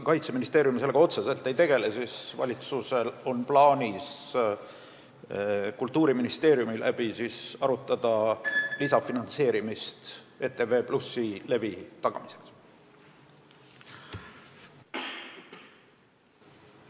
Kaitseministeerium sellega otseselt ei tegele, aga valitsusel on plaanis Kultuuriministeeriumiga arutada ETV+ levi tagamiseks lisaraha eraldamist.